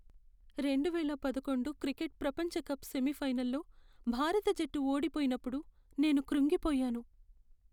రెండువేల పదకొండు క్రికెట్ ప్రపంచ కప్ సెమీఫైనల్లో భారత జట్టు ఓడిపోయినప్పుడు నేను కృంగిపోయాను.